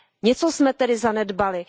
Něco jsme tedy zanedbali.